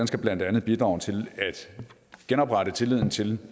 skal blandt andet bidrage til at genoprette tilliden til